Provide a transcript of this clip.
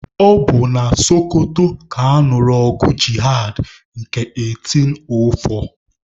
Ọ bụ na Sokoto ka a nụrụ ọgụ jihad nke 1804.